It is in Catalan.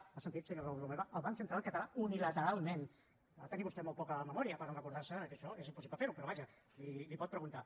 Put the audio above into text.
m’ha sentit senyor raül romeva el banc central català unilateralment ha de tenir vostè molt poca memòria per no recordar se que això és impossible fer ho però vaja li ho pot preguntar